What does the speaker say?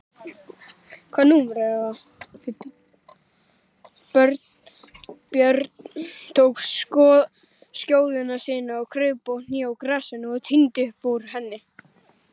Björn tók skjóðu sína, kraup á kné í grasinu og tíndi upp úr henni.